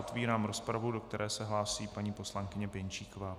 Otevírám rozpravu, do které se hlásí paní poslankyně Pěnčíková.